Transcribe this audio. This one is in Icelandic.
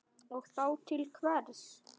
Og þá til hvers?